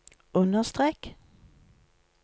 understrek